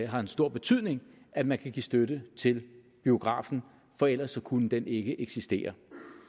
har en stor betydning at man kan give støtte til biografen for ellers kunne den ikke eksistere